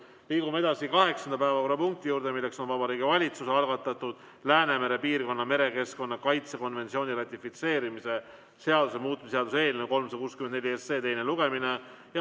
Liigume kaheksanda päevakorrapunkti juurde: Vabariigi Valitsuse algatatud Läänemere piirkonna merekeskkonna kaitse konventsiooni ratifitseerimise seaduse muutmise seaduse eelnõu 364 teine lugemine.